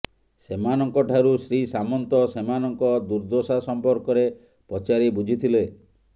ସେମାନଙ୍କଠାରୁ ଶ୍ରୀ ସାମନ୍ତ ସେମାନଙ୍କ ଦୁର୍ଦଶା ସମ୍ପର୍କରେ ପଚାରି ବୁଝିଥିଲେ